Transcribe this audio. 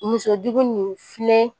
Musojugu ninnu filɛ